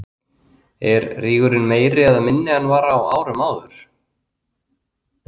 Er rígurinn meiri eða minni en hann var á árum áður?